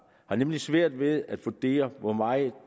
har nemlig svært ved at vurdere hvor meget